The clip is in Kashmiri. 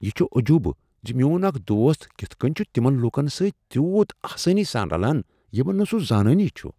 یہِ چُھ عجوبہ زَ میوٚن اکھ دوست کتھ کٔنۍ چھ تمن لوکن سۭتۍ تیوٗت آسانی سان رلان یمن نہٕ سہ زانٲنی چھ۔